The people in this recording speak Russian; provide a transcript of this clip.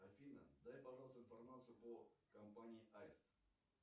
афина дай пожалуйста информацию по компании аист